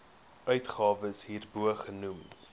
uitgawes hierbo genoem